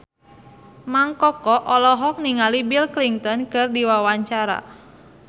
Mang Koko olohok ningali Bill Clinton keur diwawancara